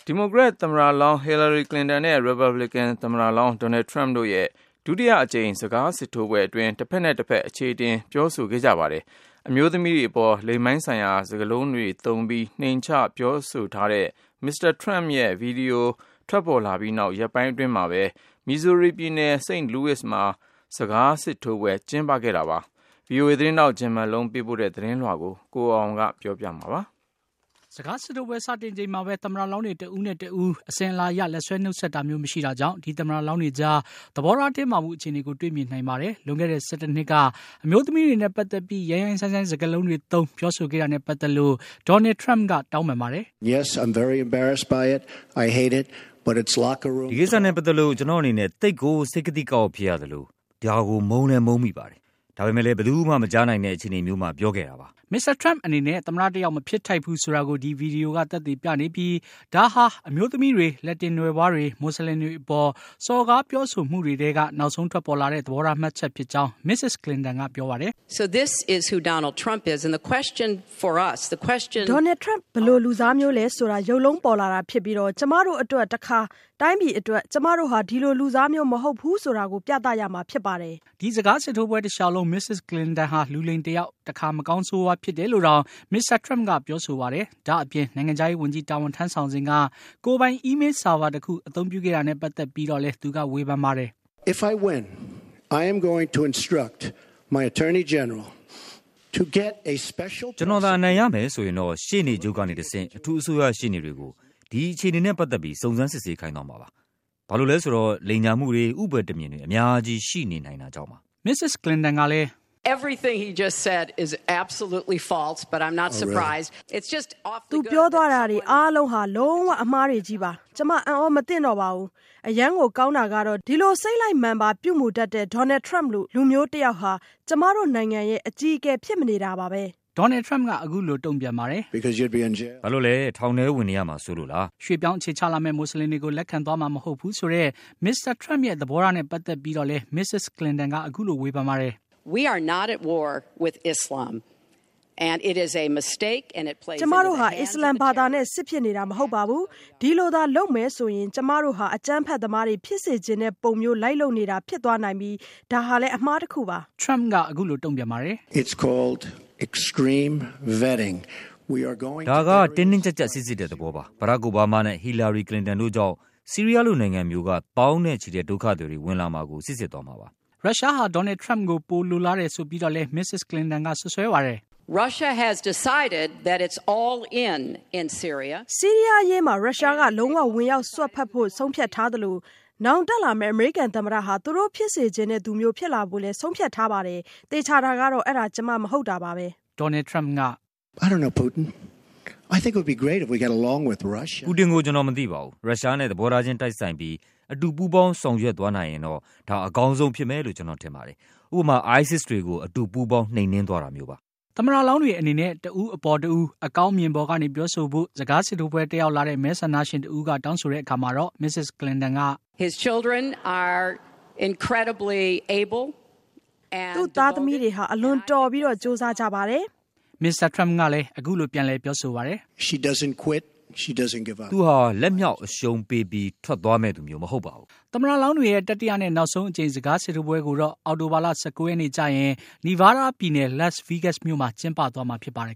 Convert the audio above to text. ီမိုကရက် သမ္မတလောင်း Hillary Clinton နဲ့ Republican သမ္မတလောင်း Donald Trump တို့ရဲ့ ဒုတိယအကြိမ်စကား စစ်ထိုးပွဲအတွင်း တဘက်နဲ့တဘက် အချေအတင် ပြောဆိုခဲ့ကြပါတယ်။ အမျိုးသမီးတွေအပေါ် လိင်ပိုင်းဆိုင်ရာ စကားလုံးတွေသုံးပြီး နှိမ်ချပြောဆိုထားတဲ့ Mr. Trump ရဲ့ ဗီဒီယို ထွက်ပေါ်လာပြီးနောက် ရက်ပိုင်းအတွင်းမှာပဲ Missoruri ပြည်နယ် St. Louis မြို့မှာ ဒီစကားစစ်ထိုးပွဲကျင်းပတာပါ။ VOA သတင်းထောက် Jim Malone ပေးပို့ထားတဲ့ သတင်းကို ကိုအောင်အောင်က ပြောပြပေးမှာပါ။ စကားစစ်ထိုးပွဲစတင်ချိန်မှာပဲ သမ္မတလောင်းတွေ တဦးနဲ့တဦး လက်ဆွဲနှုတ်ဆက်တာမျိုုး မရှိတာကြောင့် ဒီသမ္မတလောင်းတွေကြား သဘောထား တင်းမာမှု အခြေအနေကို တွေ့မြင်နိုင်ပါတယ်။ လွန်ခဲ့တဲ့ ၁၁ နှစ်က အမျိုးသမီးတွေနဲ့ ပတ်သက်ပြီး ရိုင်းရိုင်းစိုင်းစိုင်း စကားလုံးတွေသုံး ပြောဆိုခဲ့တာနဲ့ ပတ်သက် လို့ Donald Trump က တောင်းပန်ပါတယ်။ “ဒီကိစ္စနဲ့ ပတ်သက်လို့ ကျနော့အနေနဲ့ အလွန်ပဲ စိတ်ကသိကအောင့် ဖြစ်ရသလို ဒီအပေါ် မုန်းမိပါတယ်။ ဒါပေမယ့် ဘယ်သူမှ မကြားနိုင်တဲ့ အခြေအနေမျိုးမှာ ပြောဆိုခဲ့တာ ပါ။ Mr. Trump အနေနဲ့ သမ္မတတယောက် မဖြစ်ထိုက်ဘူးဆိုတာကို ဒီဗီဒီယိုက သက်သေပြနေပြီး ဒါဟာ အမျိုးသမီးတွေ၊ လက်တင်နွယ်ဖွါးတွေနဲ့ မူစလင်တွေအပေါ် စော်ကားပြောဆိုမှုတွေထဲက နောက်ဆုံးထွက်ပေါ်လာတဲ့ သဘောထားမှတ်ချက် ဖြစ်ကြောင်း Mrs. Clinton က ပြောပါတယ်။ “Donald Tump ဘယ်လိုလူစားမျိုးလည်းဆိုတာ ရုပ်လုံးပေါ်လာတာဖြစ်ပြီး ကျမတို့အတွက် တခါ တိုင်းပြည်အတွက် ကျမတို့ဟာ ဒီလိုလူစားမျိုး မဟုတ်ဘူးဆိုတာကို ပြသရမှာ ဖြစ်ပါတယ်။” ဒီစကားစစ်ထိုးပွဲတလျှောက်လုံး Mrs. Clinton ဟာ လူလိမ် တယောက်၊ တခါ မကောင်းဆိုးဝါး ဖြစ်တယ်လို့တောင် Mr. Trump က ပြောဆိုပါတယ်။ ဒါ့အပြင် နိုင်ငံခြားရေးဝန်ကြီး တာဝန်ထမ်းဆောင်စဉ်က ကိုယ်ပိုင် အီးမေးဆာဗာတခု အသုံးပြုခဲ့တာနဲ့ ပတ်သက် ပြီးတော့လည်း သူက ဝေဖန်ခဲ့ပါတယ်။ “ကျနော်သာ အနိုင်ရမယ်ဆိုရင်တော့ ရှေ့နေချုပ်ကနေတဆင့် အထူး အစိုးရရှေ့နေတွေကို ဒီအခြေအနေနဲ့ ပတ်သက်ပြီး စုံစမ်းစစ်ဆေးခိုင်းသွားမှာပါ။ ဘာလို့လည်းဆိုတော့ လိမ်ညာမှုတွေ ဥပါယ်တံမျဉ်တွေ အများကြီး ရှိနေနိုင်တာကြောင့်ပါ။” Mrs. Clinton ကလည်း “သူပြောတာတွေအားလုံးဟာ လုံး၀ အမှားတွေပါ။ကျမ အံ့အားမသင့်တော့ပါဘူး။ အရမ်းကို ကောင်းတာကတော့ ဒီလို စိတ်လိုက်မာန်ပါ ပြုမူတတ်တဲ့ Donald Trump လို လူမျိုးတယောက်ဟာ ကျမတို့ နိုင်ငံရဲ့ အကြီးအကဲ ဖြစ်မနေတာပါပဲ။” Donald Trump က အခုလို တုန့်ပြန်ပါတယ်။ “ဘာလို့လဲ။ ထောင်ထဲဝင်နေရမှာစိုးလို့လား။” ရွှေ့ပြောင်းအခြေချလာမယ့် မူစလင်တွေကို လက်ခံသွားမှာ မဟုတ်ဘူးဆိုတဲ့ Mr. Trump ရဲ့ သဘောထားနဲ့ ပတ်သက်ပြီးတော့လည်း Mrs. Clinton က အခုလို ဝေဖန်ပါတယ်။ “ကျမတို့ဟာ အစ္စလာမ်ဘာသာနဲ့ စစ်ဖြစ်နေတာမဟုတ်ပါဘူး။ ဒီလိုသာလုပ်မယ်ဆို ကျမတို့ဟာ အကြမ်းဖက်သမားတွေ ဖြစ်စေချင်တဲ့ ပုံမျိုးလိုက်လုပ်နေတာ ဖြစ်သွားနိုင်ပြီး ဒါဟာ အမှားတခုပါ။” Trump က အခုလိုတုန့်ပြန်ပါတယ်။ “ဒါဟာ တင်းတင်းကြပ်ကြပ် စိစစ်တဲ့ သဘောပါ။ Barack Obama နဲ့ Hillary Clinton တို့ကြောင့် ဆီးရီးယားလို နိုင်ငံမျိုးက သောင်းနဲ့ချီတဲ့ ဒုက္ခသည်တွေဝင်လာမှာကို စိစစ်သွားမှာပါ။” ရုရှားဟာ Donald Trump ကို ပိုလိုလားတယ်ဆိုပြီးတော့လည်း Mrs. Clinton က စွပ်စွဲပါတယ်။ “ဆီးရီးယားအရေးမှာ ရုရှားက လုံး၀ ဝင်ရောက် စွက်ဖက်ဖို့ ဆုံးဖြတ်ထားသလို နောင်တက်လာမယ့် အမေရိကန်သမ္မတဟာ သူတို့ဖြစ်စေချင်သူမျိုး ဖြစ်လာဖို့လည်း ဆုံးဖြတ်ထားပါတယ်။ သေချာတာကတော့ အဲဒါ ကျမ မဟုတ်တာပါပဲ။” Donald Trump က “ပူတင်ကို ကျနော် မသိပါဘူး။ ရုရှားနဲ့ သဘောထားချင်း တိုက်ဆိုင်ပြီး အတူပူးပေါင်းဆောင်ရွက်သွားနိုင်ရင်တော့ ဒါဟာ အကောင်းဆုံး ဖြစ်မယ်လို့ ကျနော်ထင်ပါတယ်။ ဥပမာ ISIS တွေကို အတူပူးပေါင်း နှိမ်နင်းသွားတာမျိုးပါ။” သမ္မတလောင်းတွေအနေနဲ့ တဦးအပေါ် တဦး အကောင်းအမြင်ပေါ်ကနေ ပြောဆိုဖို့ စကားစစ်ထိုးပွဲ တက်ရောက်လာတဲ့ မဲဆန္ဒရှင်တဦးက တောင်းဆိုတဲ့အခါမှာတော့ Mrs. Clinton က “သူ့ သားသမီးတွေဟာ အလွန်တော်ပြီး ကြိုးစားကြပါတယ်။” Mr. Trump က “သူဟာ လက်မြှောက်အရှုံးပေးပြီး ထွက်သွားမယ့်သူ မဟုတ်ပါဘူး။” သမ္မတလောင်းတွေရဲ့ တတိယနဲ့ နောက်ဆုံးအကြိမ် စကားစစ်ထိုးပွဲကိုတော့ အောက်တိုဘာ ၁၉ ရက်နေ့ကျရင် Nevada ပြည်နယ် Las Vegas မြို့မှာ ကျင်းပသွားမှာဖြစ်ပါတယ်